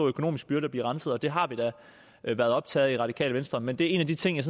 økonomisk byrde at blive renset og det har vi da været optaget af i radikale venstre men det er en af de ting jeg